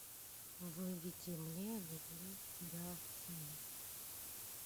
выведи мне люблю тебя сильно